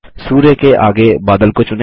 सूर्य के आगे बादल को चुनें